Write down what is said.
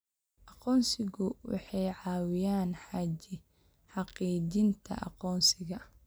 Aqoonsigu waxay caawiyaan xaqiijinta aqoonsiga.